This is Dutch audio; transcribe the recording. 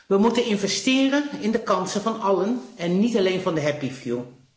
We moeten investeren in de kansen van allen en niet alleen van de happy few